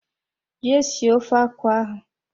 Jee sie ofe akwụ ahụ.